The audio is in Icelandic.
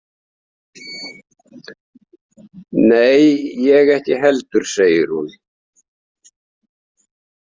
Nei, ég ekki heldur, segir hún.